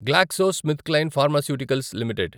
GlaxoSmithKline pharmaceuticals limited